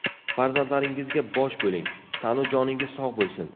Farzandlaringizga bosh bo‘ling, tanu joningiz sog‘ bo‘lsin.